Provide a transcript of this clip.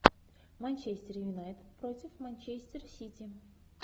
манчестер юнайтед против манчестер сити